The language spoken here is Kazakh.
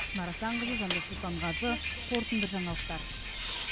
шынар асанқызы жандос сұлтанғазы қорытынды жаңалықтар